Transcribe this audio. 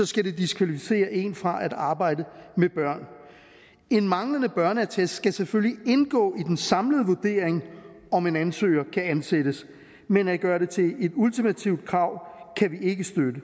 skal diskvalificere en fra at arbejde med børn en manglende børneattest skal selvfølgelig indgå i den samlede vurdering om en ansøger kan ansættes men at gøre det til et ultimativt krav kan vi ikke støtte det